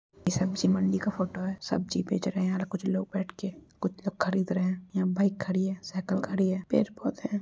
यह सब्जी मंडी का फोटो है सब्जी बेंच रहे है | यहां पे कुछ लोग बैठ के कुछ लोग खरीद रहे हैं| यहां बाइक खड़ी है साइकल खड़ी है पेड पौधे हैं।